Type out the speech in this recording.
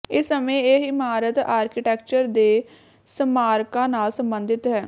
ਇਸ ਸਮੇਂ ਇਹ ਇਮਾਰਤ ਆਰਕੀਟੈਕਚਰ ਦੇ ਸਮਾਰਕਾਂ ਨਾਲ ਸਬੰਧਿਤ ਹੈ